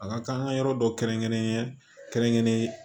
A ka kan an ka yɔrɔ dɔ kɛrɛnkɛrɛnen kɛrɛnkɛrɛnnenye